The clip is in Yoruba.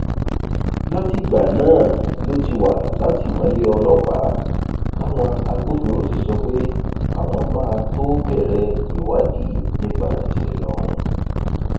látìgbà náà ló ti wà látìmọlé ọlọpàá táwọn agbófinró sì sọ pé àwọn máa tóó bẹrẹ ìwádìí nípa ìṣẹlẹ ọhún